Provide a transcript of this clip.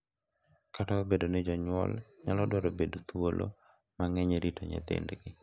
Kata obedo ni jonyuol nyalo dwaro bedo thuolo mang’eny e rito nyithindgi.